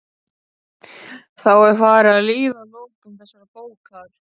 Þá er farið að líða að lokum þessarar bókar.